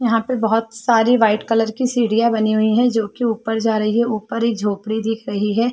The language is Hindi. यहाँ पे बहुत सारी वाइट कलर की सीढ़ियां बनी हुई है जो कि ऊपर जा रही है ऊपर एक झोपड़ी दिख रही है।